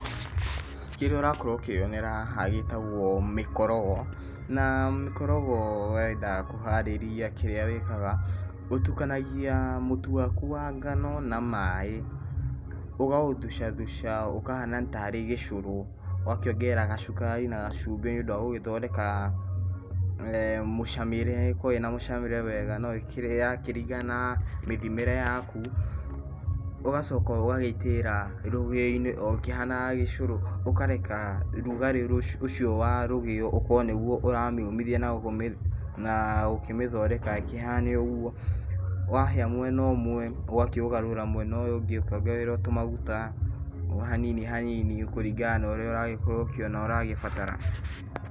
Kĩrĩa ũrakorwo ũkĩyonera haha gĩtagwo mĩkorogo, na mĩkorogo wenda kũharĩria kĩrĩa wĩkaga, ũtukanagia mũtu waku wa ngano na maĩ, ũkaũthucathuca, na ũkahana tarĩ gĩcũrũ, ũgakĩongerera gacukari na gacumbĩ nĩũndũ wa gũgĩthondeka eh mũcamĩre ĩkorwo ĩna mũcamĩre mwega, no ĩrakĩringana na mĩthimĩe yaku, ũgacoka ũgagĩitĩrĩra rũgĩo-inĩ o ũkihanaga gĩcũrũ, ũkareka rũgarĩ ũcio wa rũgĩo ũkorwo nĩguo ũramĩũmithia na gũkĩmĩthondeka ĩkĩhane ũguo, wahĩa mwena ũmwe, ũgakĩũgarũra mwena ũyũ ũngĩ ũkĩongagĩrĩra tũmaguta, o hanini hanini kũringa na ũrĩa ũrakorwo okĩona na ũragĩbatara.